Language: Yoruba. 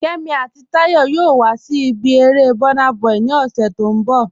Kẹ́mí àti Táyọ̀ yòò wà sí ibi èrè Burnaboy ni ọṣẹ̀ tó nbọ̀.